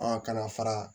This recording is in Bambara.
Ɔ ka na fara